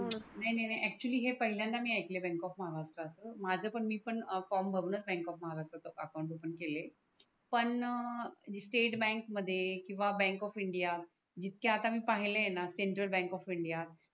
नाही नाही अकचुवल्ली हे पहिल्यांदा मी आयकल आहे बँक ऑफ महाराष्ट्रच माझ पण मी पण फॉर्म भरूनच बँक ऑफ महाराष्ट्रच अकाउंट ओफन केलय पण स्टेट बँक मध्ये किवा बँक ऑफ इंडिया जिथके आता मी पाहाले आहेत णा सेनट्रल बँक ऑफ इंडिया